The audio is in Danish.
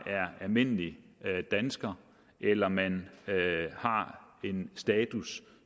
er almindelig dansker eller om man har en status